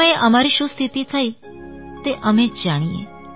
તે સમયે અમારી શું સ્થિતિ થઈ તે અમે જ જાણીએ